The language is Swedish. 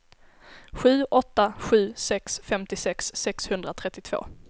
sju åtta sju sex femtiosex sexhundratrettiotvå